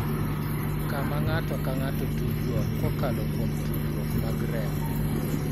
Kama ng�ato ka ng�ato tudruok kokalo kuom tudruok mag remo,